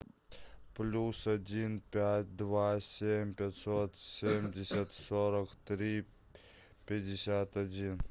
плюс один пять два семь пятьсот семьдесят сорок три пятьдесят один